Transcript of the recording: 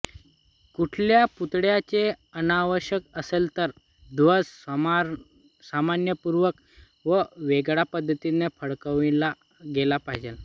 कुठल्या पुतळ्याचे अनावरण असेल तर ध्वज सन्मानपूर्वक व वेगळ्या पद्धतीने फडकविला गेला पाहिजे